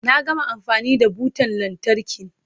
Na gama amfani da butan lantarkin.